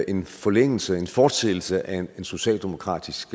en forlængelse en fortsættelse af en socialdemokratisk